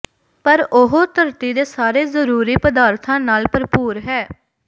ਪਰ ਉਹ ਧਰਤੀ ਦੇ ਸਾਰੇ ਜ਼ਰੂਰੀ ਪਦਾਰਥਾਂ ਨਾਲ ਭਰਪੂਰ ਹੈ